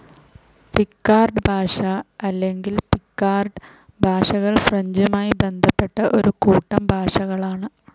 Picard ഭാഷ അല്ലെങ്കിൽ Picard ഭാഷകൾ ഫ്രഞ്ചുമായി ബന്ധപ്പെട്ട ഒരു കൂട്ടം ഭാഷകളാണ്.